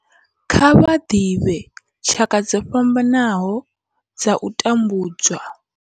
Kha vha ḓivhe tshaka dzo fhambanaho dza u tambudzwa.